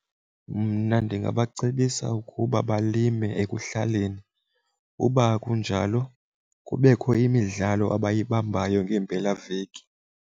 Mna ndingabacebisa ukuba balime ekuhlaleni. Uba akunjalo kubekho imidlalo abayibambayo ngeempelaveki.